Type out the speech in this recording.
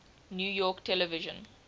new york television